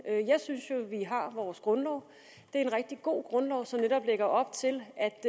jeg synes jo at vi har vores grundlov det er en rigtig god grundlov som netop lægger op til at